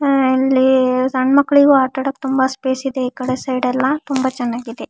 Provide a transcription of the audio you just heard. ಆಹ್ಹ್ ಇಲ್ಲಿ ಸಣ್ಣ ಮಕ್ಕಳಿಗೂ ಆಟ ಆಡೋಕೆ ತುಂಬ ಸ್ಪೇಸ್ ಇದೆ ಈಕಡೆ ಸೈಡ್ ಎಲ್ಲ ತುಂಬ ಚೆನ್ನಾಗಿದೆ.